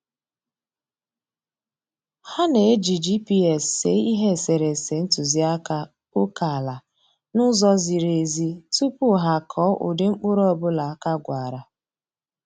Ha na-eji GPS see ihe eserese ntụziaka oke ala n'ụzọ ziri ezi tupu ha akọ ụdị mkpụrụ ọbụla aka gwara